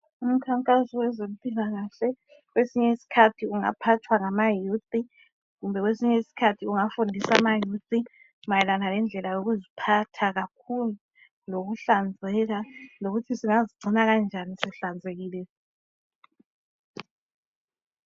Umkhankaso wezempilakahle kwesinye isikhathi ungaphathwa ngama "youth" kumbe kwesinye isikhathi ungafundisa ama"youth" mayelana lendlela yokuziphatha kakhulu lokuhlanzeka lokuthi singazicgina kanjani sihlanzekile.